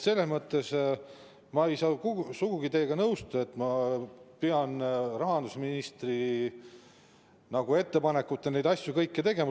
Selles mõttes ei saa ma sugugi teiega nõustuda, nagu ma peaksin rahandusministri ettepanekute alusel kõiki neid asju tegema.